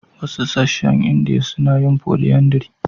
Wasu sassan Indiya suna yin polyandry.